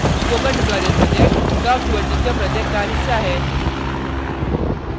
spoken tutorial project talk to a teacher project का हिस्सा है